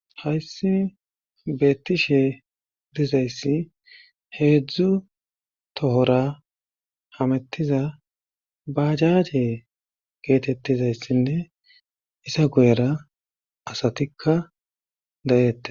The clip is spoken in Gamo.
Hayssi beettishe dizayssi heedzdzu tohora hamettiza bajaje geetettizayssinne isa goyera asatikka dayeette..